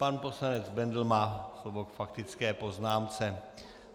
Pan poslanec Bendl má slovo k faktické poznámce.